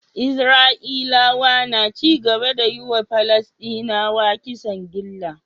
Isra'ilawa na cigaba da yiwa palasdinawa kisan gilla